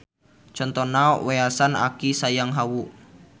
Contona Weasan Aki Sayang Hawu.